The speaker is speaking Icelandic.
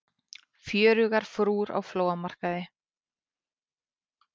Fjörugar frúr á flóamarkaði